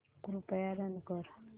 कृपया रन कर